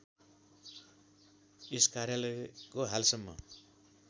यस कार्यालयको हालसम्म